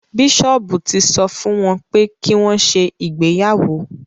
Bíṣọ́ọ̀bù ti sọ fún wọn pé kí wọ́n ṣe ìgbéyàwó